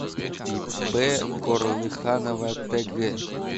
ип корлыханова тг